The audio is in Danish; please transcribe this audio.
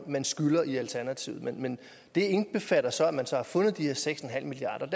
man skylder i alternativet men det indbefatter så at man har fundet de her seks milliard